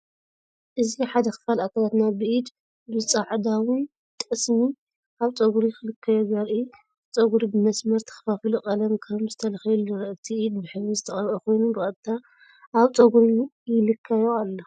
እዚ ሓደ ክፋል ኣካላትና ብኢድ ብጻዕዳውን ጠስሚ ኣብ ጸጉሪ ክለኽዮ ዘርኢ እዩ። እቲ ጸጉሪ ብመስመር ተኸፋፊሉ ቀለም ከም ዝተለኽየሉ ይርአ። እቲ ኢድ ብሕብሪ ዝተቐብአ ኮይኑ ብቐጥታ ኣብ ጸጉሪ ይለኽዮ ኣሎ።